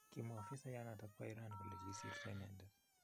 Kimwaa afisayat nepo Iran kole 'Kisirto inendet'